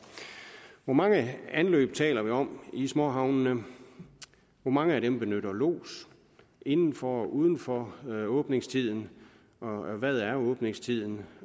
hvor mange anløb taler vi om i småhavnene hvor mange af dem benytter lods inden for og uden for åbningstiden hvad er åbningstiden